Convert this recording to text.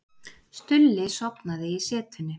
Stulli sofnaði í setunni.